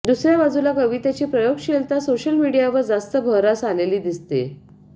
दुसऱया बाजूला कवितेची प्रगोगशीलता सोशल मीडियावर जास्त बहरास आलेली दिसते